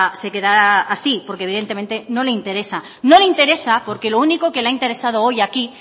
se quedará así porque evidentemente no le interesa no le interesa porque lo único que le ha interesado hoy aquí